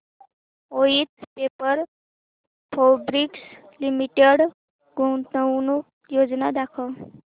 Voith paper fabrics limited गुंतवणूक योजना दाखव